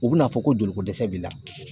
U bi n'a fɔ ko joli ko dɛsɛ b'i la.